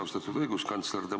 Austatud õiguskantsler!